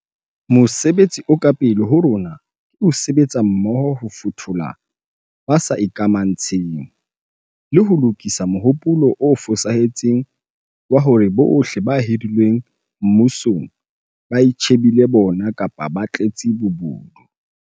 Mosebetsi o ka pele ho rona ke ho sebetsa mmoho ho fothola ba sa ikamantshe ng, le ho lokisa mohopolo o fosahetseng wa hore bohle ba hirilweng mmusong ba itjhe bile bo bona kapa ba tletse bobodu.